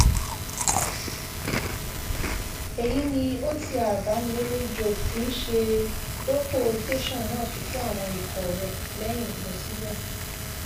èyí ni otr bámilẹlẹ job tí í ṣe dọpọ tẹsán náà fi kó àwọn ikọ rẹ lẹyìn lọ síbẹ